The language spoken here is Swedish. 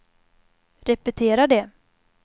repetera det